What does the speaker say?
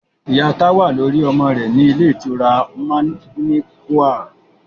Ìyá Táwà ló rí ọmọ rẹ̀ ní ilé ìtura manequal